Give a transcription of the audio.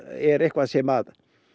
er eitthvað sem